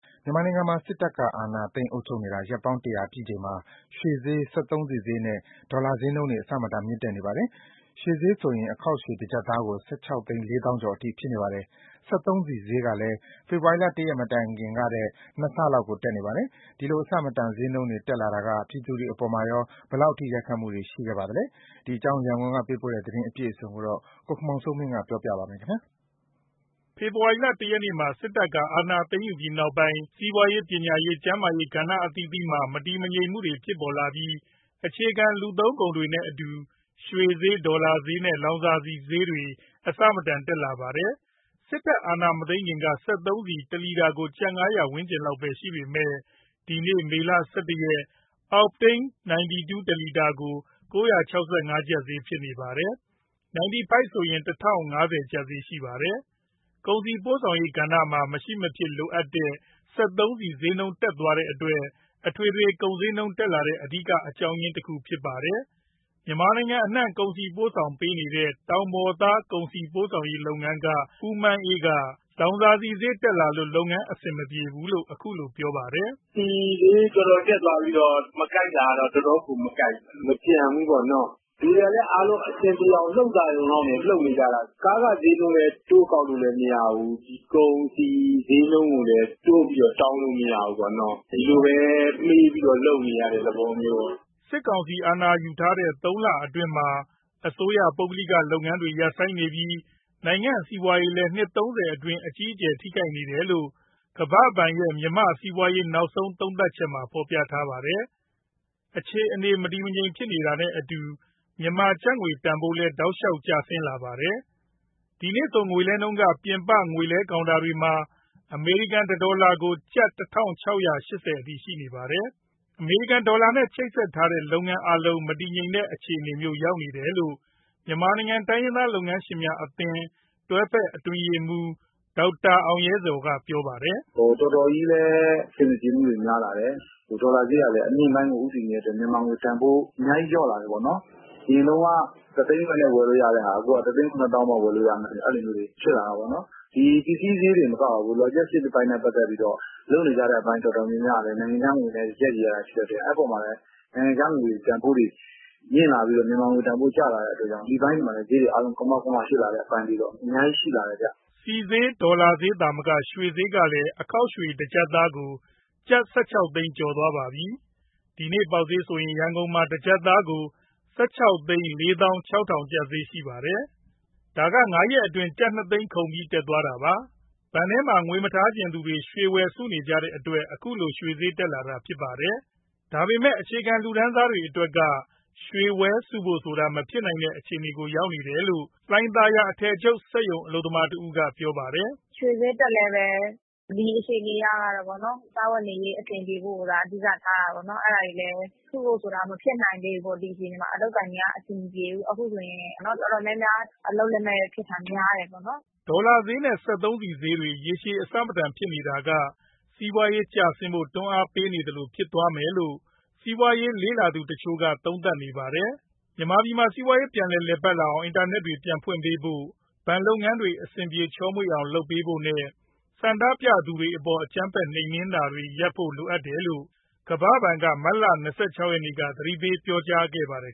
မြန်မာနိုင်ငံမှာ စစ်တပ်အာဏာသိမ်း အုပ်ချုပ်နေတာ ရက်ပေါင်း ၁၀၀ ပြည့်ချိန်မှာ ရွှေဈေး၊ စက်သုံးဆီဈေးနဲ့ ဒေါ်လာငွေလဲနှုန်းတွေ အဆမတန်မြင့်တက်နေပါတယ်။ ရွှေဈေးဆိုရင် အခေါက်ရွှေ ၁ ကျပ်သားကို ၁,၆၄၀,၀၀၀ ကျော်အထိ ဖြစ်နေပါပြီ။ စက်သုံးဆီဈေးကလည်း ဖေဖော်ဝါရီ ၁ ရက်မတိုင်ခင်ကထက် ၂ ဆလောက်ကို တက်နေပါတယ်။ ဒီလိုအဆမတန် ဈေးနှုန်းတွေ တက်လာတာက ပြည်သူတွေအပေါ်မှာရော ဘယ်လောက်အထိ ရိုက်ခတ်မှုတွေ ရှိခဲ့ပါလဲ။ ရန်ကုန်ကပေးပို့တဲ့ သတင်းအပြည့်အစုံကို ကိုခင်မောင်စိုးမင်း ပြောပြပါမယ်။ ဖေဖော်ဝါရီ ၁ ရက်မှာ စစ်တပ်က အာဏာသိမ်းယူပြီးနောက်ပိုင်း စီးပွားရေး၊ ပညာရေး၊ ကျန်းမာရေး ကဏ္ဍအသီးသီးမှာ မတည်ငြိမ်မှုတွေ ဖြစ်ပေါ်လာပြီး အခြေခံ လူသုံးကုန်တွေနဲ့အတူ ရွှေဈေး၊ ဒေါ်လာဈေးနဲ့ လောင်စာဆီဈေးတွေ အဆမတန် တက်လာပါတယ်။ စစ်တပ် အာဏာမသိမ်းခင်က စက်သုံးဆီ တလီတာကို ကျပ် ၅၀၀ ဝန်းကျင်လောက်ပဲရှိပေမဲ့ ဒီနေ့ မေလ ၁၁ ရက်မှာ အောက်တိန်း 92 တလီတာကို ၉၆၅ ကျပ်ဈေးဖြစ်နေပါတယ်။ 95 ဆိုရင် ၁,၀၅၀ ကျပ်ဈေးရှိပါတယ်။ ကုန်စည်ပို့ဆောင်ရေးလုပ်ငန်းမှာ မရှိမဖြစ်လိုတဲ့ စက်သုံးဆီဈေးတက်တဲ့အတွက် အထွေထွေ ကုန်ဈေးနှုန်းတက်လာတဲ့ အဓိက အကြောင်းအရင်းတခုလည်းဖြစ်ပါတယ်။ မြန်မာနိုင်ငံ အနှံ့ကုန်စည်တွေ ပို့ဆောင်ပေးနေတဲ့ တောင်ပေါ်သား ကုန်စည်ပို့ဆောင်ရေးလုပ်ငန်းက ဦးမန်းအေးက လောင်စာဆီဈေးတက်လာလို့ လုပ်ငန်းအဆင်မပြေတော့ဘူးလို့ ခုလိုပြောပါတယ်။ “ဆီဈေးတော်တော် တက်သွားပြီးတော့ မကိုက်တာက တော်တော့်ကို မကိုက်ဘူး၊ မကျန်ဘူးပေါ့နော်။ လူတွေက အားလုံးအဆင်ပြေရုံ၊ လှုပ်သာရုံလောက် လှုပ်နေကြတာ။ ကားခဈေးနှုန်းလည်း တိုးကောက်လို့ မရဘူး။ ကုန်စည် ဈေးနှုန်းကိုလည်း တိုးပြီးတောင်းလို့လည်း မရဘူးပေါ့နော်။ ဒီလိုပဲ မှေးပြီးတော့ လုပ်နေရတဲ့ သဘောမျိုးပေါ့။” စစ်ကောင်စီ အာဏာယူထားတဲ့ သုံးလအတွင်းမှာ အစိုးရ၊ ပုဂ္ဂလိကလုပ်ငန်းတွေ ရပ်ဆိုင်းနေပြီး နိုင်ငံ့စီးပွားရေးလည်း နှစ် ၃၀ အတွင်း အကြီးအကျယ် ထိခိုက်နေတယ်လို့ ကမ္ဘာ့ဘဏ်ရဲ့ မြန်မာ့စီးပွားရေး နောက်ဆုံးသုံးသပ်ချက်မှာ ဖော်ပြထားပါတယ်။ အခြေအနေ မတည်မငြိမ်ဖြစ်နေတာနဲ့အတူ မြန်မာကျပ်ငွေတန်ဖိုးလည်း တောက်လျှောက်ကျလာခဲ့ပါတယ်။ ဒီနေ့ဆို ငွေလဲနှုန်းက ပြင်ပငွေလဲကောင်တာတွေမှာ အမေရိကန်တဒေါ်လာကို ကျပ် ၁,၆၈၀ ကျပ်အထိ ရှိနေပါတယ်။ အမေရိကန်ဒေါ်လာနဲ့ ချိတ်ဆက်ထားတဲ့ လုပ်ငန်းအားလုံး မတည်ငြိမ်တဲ့ အခြေအနေမျိုးရောက်နေတယ်လို့ မြန်မာနိုင်ငံ တိုင်းရင်းသားလုပ်ငန်းရှင်များအသင်း တွဲဖက်အထွေထွေ အတွင်းရေးမှူး ဒေါက်တာအောင်ရဲဇော်က ပြောပါတယ်။ “တော်တော်ကြီးလည်း အဆင်မပြေမှုတွေ များလာတယ်။ ဒေါ်လာဈေးက အမြင့်ပိုင်းကို ဦးတည်နေတဲ့အတွက် မြန်မာငွေတန်ဖိုး အများကြီး လျော့လာတယ်ပေါ့နော်။ အရင်က ၁၀၀,၀၀၀ နဲ့ ဝယ်လို့ရတဲ့ဟာ ၁၇၀,၀၀၀ ဖြစ်လာတာမျိုး။ ဒီပစ္စည်းဈေးတင်မကဘူး logistics အပိုင်းနဲ့ ပတ်သက်ပြီး လုပ်နေကြတဲ့အပိုင်း တော်တော်များများကလည်း နိုင်ငံခြားငွေနဲ့ ရပ်တည်ရတာ ဖြစ်တဲ့အတွက် အဲဒီအပေါ်မှာ နိုင်ငံခြားငွေ တန်ဖိုးတွေ မြင့်လာပြီးတော့ မြန်မာငွေတန်ဖိုး ကျလာတဲ့အတွက်ကြောင့် ဒီအပိုင်းတွေမှာလည်း ဈေးတွေ ကမောက်ကမ ဖြစ်လာတဲ့ အပိုင်းတွေတော့ အများကြီး ရှိလာတယ်ဗျ။” ဆီဈေး၊ ဒေါ်လာဈေးသာမက ရွှေဈေးကလည်း အခေါက်ရွှေ တကျပ်သားကို ကျပ် ၁၆ သိန်းကျော်သွားပါပြီ။ ဒီနေ့ပေါက်ဈေးဆိုရင် ရန်ကုန်မှာ ၁ ကျပ်သားကို ၁,၆၄၆,၀၀၀ ဈေးဖြစ်ပါတယ်။ ဒါက ၅ ရက်အတွင်း ကျပ် ၂၀၀,၀၀၀ လောက် ခုန်ပြီး တက်ခဲ့တာပါ။ ဘဏ်ထဲမှာ ငွေမထားချင်သူတွေ ရွှေဝယ်စုနေကြတဲ့အတွက် ခုလို ရွှေဈေးတက်လာနေတာပါ။ ဒါပေမဲ့ အခြေခံလူတန်းစားတွေအတွက်က ရွှေဝယ်စုဖို့ဆိုတာ မဖြစ်နိုင်တဲ့အခြေအနေကို ရောက်လာတယ်လို့ လှိုင်သာယာက အထည်ချုပ် စက်ရုံအလုပ်သမားတဦး ပြောပါတယ်။ “ရွှေဈေးတက်လည်းပဲ ဒီအခြေအနေအရ စားဝတ်နေရေး အဆင်ပြေဖို့ကိုသာ အဓိက ထားတာပေါ့နော်။ အဲဒါတွေလည်း စုဖို့ဆိုတာ မဖြစ်နိုင်သေးဘူး ဒီအခြေအနေမှာ။ အလုပ်အကိုင်တွေက အဆင်မပြေဘူး။ အခုဆိုရင် အတော်များများ အလုပ်လက်မဲ့ဖြစ်တာ များတယ်ပေါ့နော်။” ဒေါ်လာဈေးနဲ့ စက်သုံးဆီဈေးတွေ ရေရှည်အဆမတန်ဖြစ်နေတာက စီးပွားရေး ကျဆင်းဖို့ တွန်းအားပေးသလိုဖြစ်သွားမယ်လို့ စီးပွားရေးလေ့လာသူတချို့က သုံးသပ်နေပါတယ်။ မြန်မာပြည်မှာ စီးပွားရေး ပြန်လည်ပတ်လာအောင် အင်တာနက်တွေ ပြန်ဖွင့်ပေးဖို့ ဘဏ်လုပ်ငန်းတွေ အဆင်ပြေ ချောမွေ့အောင် လုပ်ပေးဖို့နဲ့ ဆန္ဒပြသူတွေအပေါ် အကြမ်းဖက်နှိမ်နင်းနေတာတွေ ရပ်ဖို့ လိုအပ်တယ်လို့ ကမ္ဘာ့ဘဏ်က မတ်လ ၂၆ ရက်က သတိပေးပြောကြားခဲ့ပါတယ်